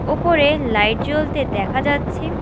ওপরে লাইট জ্বলতে দেখা যাচ্ছে।